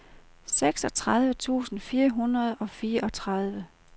seksogtredive tusind fire hundrede og fireogtredive